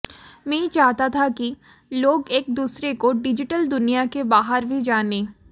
मैं चाहता था कि लोग एक दुसरे को डिजिटल दुनिया के बाहर भी जानें